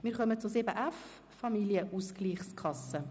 Wir kommen zu 7.f Familienausgleichskasse.